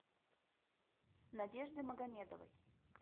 надежды магомедовой